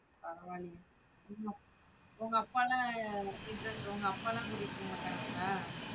பரவாயில்லையே உங்க அப்பாலாம் இந்த உங்க அப்பாலாம் கூட்டிட்டு போமாட்டான்களா?